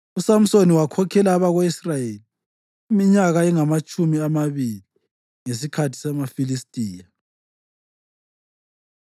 USamsoni wakhokhela abako-Israyeli iminyaka engamatshumi amabili ngesikhathi samaFilistiya.